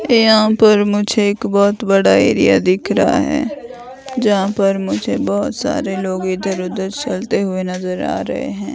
यहां पर मुझे एक बहोत बड़ा एरिया दिख रहा है जहां पर मुझे बहोत सारे लोग इधर उधर चलते हुए नजर आ रहे हैं।